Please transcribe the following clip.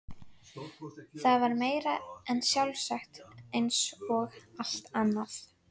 Það var meira en sjálfsagt eins og allt annað.